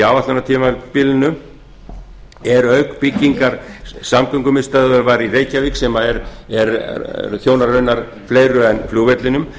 áætlunartímabilinu eru auk byggingar samgöngumiðstöðvar var í reykjavík sem þjónar raunar raunar fleiru en flugvellinum